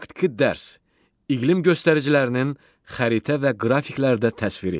Praktiki dərs: İqlim göstəricilərinin xəritə və qrafiklərdə təsviri.